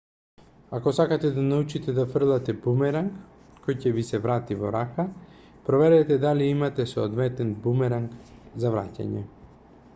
ако сакате да научите да фрлате бумеранг кој ќе ви се врати во рака проверете дали имате соодветен бумеранг за враќање